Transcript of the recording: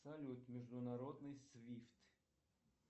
салют международный свифт